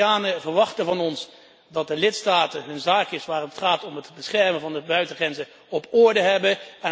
Europeanen verwachten van ons dat de lidstaten hun zaakjes waar het gaat om het beschermen van de buitengrenzen op orde hebben.